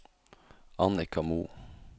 Annika Moe